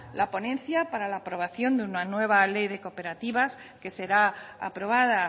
la ponencia para la aprobación de una nueva ley de cooperativas que será aprobada